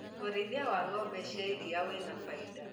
ũrĩithia wa ngombe cia iria wĩna fainda.